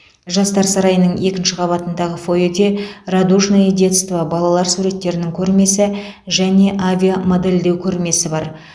жастар сарайының екінші қабатындағы фойеде радужное детство балалар суреттерінің көрмесі және авиамодельдеу көрмесі бар